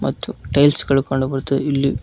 ಮತ್ತು ಟೈಲ್ಸ್ ಗಳು ಕಾಣಬರುತ್ತವೆ ಇಲ್ಲಿ--